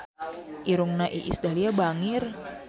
Irungna Iis Dahlia bangir